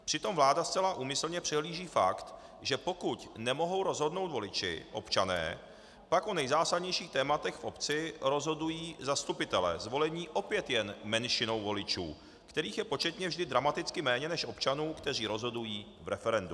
Přitom vláda zcela úmyslně přehlíží fakt, že pokud nemohou rozhodnout voliči, občané, pak o nejzásadnějších tématech v obci rozhodují zastupitelé zvolení opět jen menšinou voličů, kterých je početně vždy dramaticky méně než občanů, kteří rozhodují v referendu.